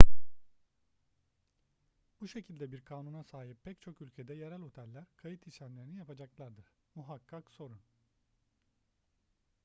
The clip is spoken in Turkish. bu şekilde bir kanuna sahip pek çok ülkede yerel oteller kayıt işlemlerini yapacaklardır muhakkak sorun